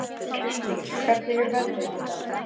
Kristný, hvernig er veðrið í dag?